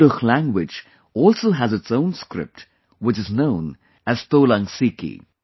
Kudukh language also has its own script, which is known as Tolang Siki